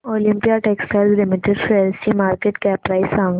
Olympia textiles limited शेअरची market cap price सांगा